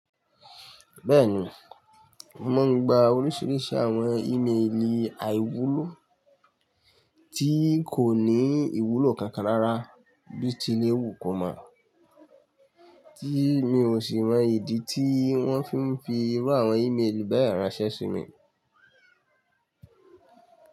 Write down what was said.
Bẹ́ẹ̀ni, ma ń gba oríṣiríṣi àwọn ímeèlì àìwúlò tí kò ní ìwúlò kankan rára bíi ti léwu kọ̀ mọ́, tí mi ò sì mọ ìdí tí wọ́n fi ń fi irú àwọn ímeèlì báyìí ránsẹ́ sí mi.